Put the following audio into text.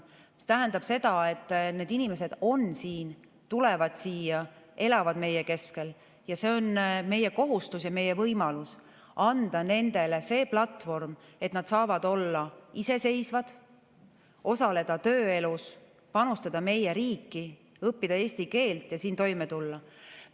See tähendab seda, et need inimesed on siin, nad tulevad siia ja elavad meie keskel, ning meie kohustus ja meie võimalus on anda nendele see platvorm, et nad saavad olla iseseisvad, osaleda tööelus, panustada meie riiki, õppida eesti keelt ja siin toime tulla.